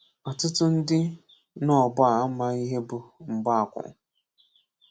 Ọ̀tụ̀tụ̀ ndị n’ógbò a amaghí ihe bụ́ mgbaákwụ̄.